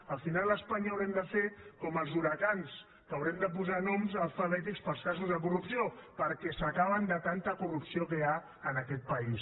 al final a espanya haurem de fer com amb els huracans haurem de posar noms alfabètics per als casos de corrupció perquè s’acaben de tanta corrupció que hi ha en aquest país